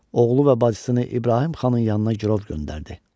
Oğlu və bacısını İbrahim xanın yanına girov göndərdi.